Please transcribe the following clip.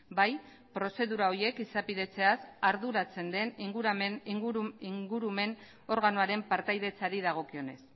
bai prozedura horiek izapidetzeaz arduratzen den ingurumen organoaren partaidetzari dagokionez